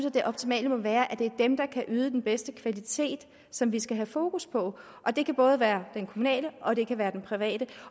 at det optimale må være at det er dem der kan yde den bedste kvalitet som vi skal have fokus på det kan både være det kommunale og det private private